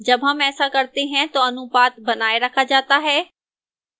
जब हम ऐसा करते हैं तो अनुपात बनाए रखा जाता है